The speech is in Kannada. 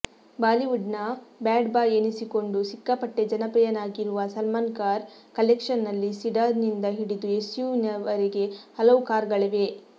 ಬಾಲಿವುಡ್ನ ಬ್ಯಾಡ್ಬಾಯ್ ಎನಿಸಿಕೊಂಡೂ ಸಿಕ್ಕಾಪಟ್ಟೆ ಜನಪ್ರಿಯನಾಗಿರುವ ಸಲ್ಮಾನ್ ಕಾರ್ ಕಲೆಕ್ಷನ್ನಲ್ಲಿ ಸಿಡಾನ್ನಿಂದ ಹಿಡಿದು ಎಸ್ಯುವಿವರೆಗೆ ಹಲವು ಕಾರ್ಗಳಿವೆ